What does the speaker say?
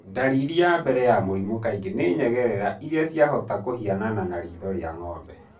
Ndariri ya mbere ya mũrimũ kaingĩ nĩ nyengerera iria ciahota kũhianana na ritho rĩa ngombe.